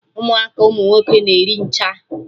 Ụmụaka ụmụ nwoke na-eri ncha!